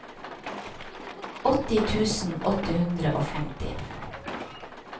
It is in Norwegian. åtti tusen åtte hundre og femti